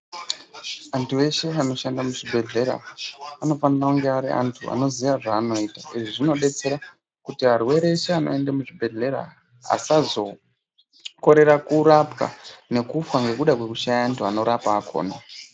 Antu eshe anoshande muzvibhedhlera, anofanire kunge ari antu anoziye zvaanoita. Izvi zvinodetsera kuti varwere veshe vanoende muzvibhedhlera asazokorera kurapwa nekufa ngekuda kwekushaya antu vanorapa akona.